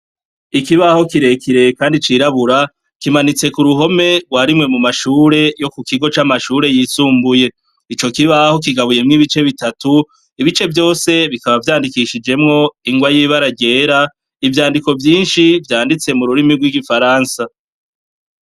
Ikibaho kirekire kandi cirabura, kimanitse k'uruhome rwa rimwe mu mashure yo ku kigo c'amashure yisumbuye. Ico kibaho kigabuyemwo ibice bitatu, ibice vyose bikaba vyandikishijemwo ingwa y'ibara ryera, ivyandiko vyinshi vyanditse mu rurimi rw'igifaransa.